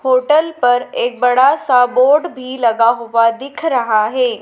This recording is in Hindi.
होटल पर एक बड़ा सा बोर्ड भी लगा हुआ दिख रहा है।